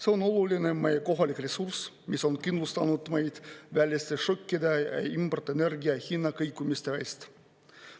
See on oluline meie kohalik ressurss, mis on kindlustanud meid väliste šokkide ja importenergia hinnakõikumiste eest.